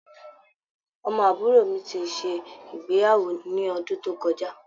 Ọmọ àbúrò mi ṣe ìgbéyàwó ní ọdún tó kọjá.